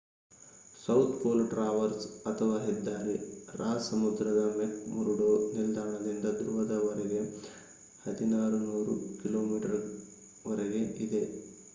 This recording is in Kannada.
ಸೌತ್ ಪೋಲ್ ಟ್ರಾವರ್ಸ್ ಅಥವಾ ಹೆದ್ದಾರಿ ರಾಸ್ ಸಮುದ್ರದ ಮೆಕ್‌ಮುರ್ಡೋ ನಿಲ್ದಾಣದಿಂದ ಧ್ರುವದವರೆಗೆ 1600 ಕಿ.ಮೀವರೆಗೆ ಇದೆ